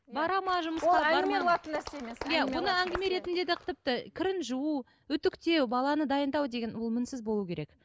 бара ма жұмысқа бармай ма нәрсе емес иә оны әңгіме ретінде де тіпті кірін жуу үтіктеу баланы дайындау деген ол мінсіз болу керек